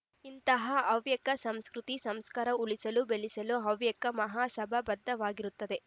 ಇಂತಹ ಹವ್ಯಕ ಸಂಸ್ಕೃತಿ ಸಂಸ್ಕಾರ ಉಳಿಸಿ ಬೆಳೆಸಲು ಹವ್ಯಕ ಮಹಾಸಭಾ ಬದ್ಧವಾಗಿರುತ್ತದೆ